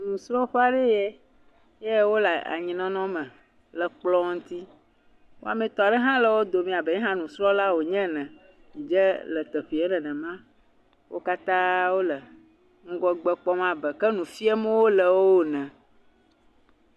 Nusrɔ̃ƒe aɖee ye, ye wole anyinɔnɔ me le kplɔ ŋuti, wɔametɔ aɖe hã wo dome abe ye hã nusrɔ̃la wònye ene, dze le teƒee nenema. Wo katã wole ŋgɔgbe kpɔm abe ke nu fiem wole woe ne.